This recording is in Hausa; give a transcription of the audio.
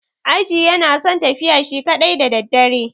Aji yana son tafiya shi kaɗai da daddare.